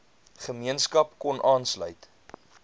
gemeenskap kon aanlsuit